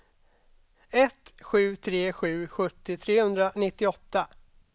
ett sju tre sju sjuttio trehundranittioåtta